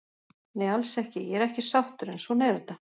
Nei alls ekki, ég er ekki sáttur en svona er þetta.